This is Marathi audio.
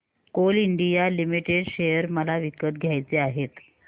कोल इंडिया लिमिटेड शेअर मला विकत घ्यायचे आहेत